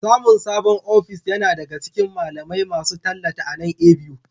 Samun sabon ofis yana daga cikin malamai masu tallata a nan A.B.U